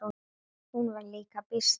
Hún var líka býsna trúuð.